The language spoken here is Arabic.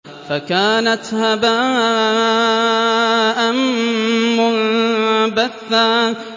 فَكَانَتْ هَبَاءً مُّنبَثًّا